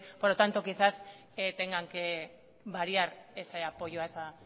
por lo tanto quizás tengan que variar ese apoyo a ese